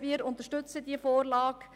Wir unterstützen die Vorlage.